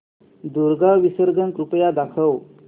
दुर्गा विसर्जन कृपया दाखव